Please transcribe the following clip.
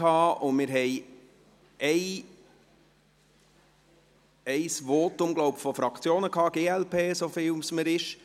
Wenn ich mich richtig erinnere, haben wir ein Votum der Fraktionen gehabt, der glp, glaube ich.